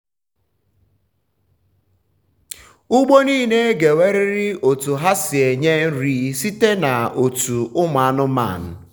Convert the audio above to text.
ugbo nile ga enwerịrị otu ha si enye nri site na otu ụmụ anụmanụ